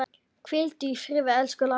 Hvíldu í friði, elsku Lára.